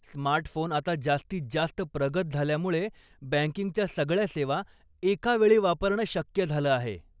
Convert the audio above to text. Smart phone आता जास्तीत जास्त प्रगत झाल्यामुळे बँकिंगच्या सगळ्या सेवा एका वेळी वापरणं शक्य झालं आहे.